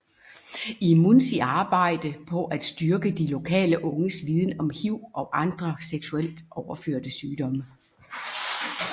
IMUNZI arbejde på at styrke de lokale unges viden om HIV og andre seksuelt overførte sygdomme